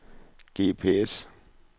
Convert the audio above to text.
GPS